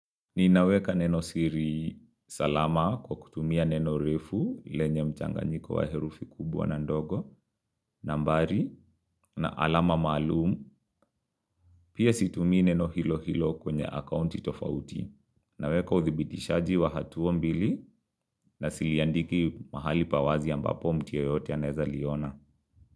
Ninaweka neno siri salama kwa kutumia neno refu, lenye mchanganyiko wa herufi kubwa na ndogo, nambari, na alama malumu, pia situmii neno hilo hilo kwenye accounti tofauti. Naweka uthibitishaji wa hatua mbili na siliandiki mahali pawazi ambapo mtu yoyote anaweza liona.